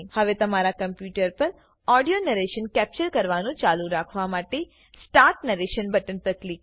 હવે તમારા કમ્પુટર પર ઓડીઓ નરેશન કેપ્ચર કરવાનું ચાલુ રાખવા માટેStart નેરેશન બટન પર ક્લિક કરો